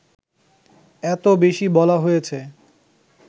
এত বেশি বলা হয়েছে